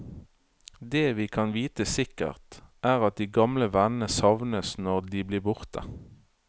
Det vi kan vite sikkert, er at de gamle vennene savnes når de blir borte.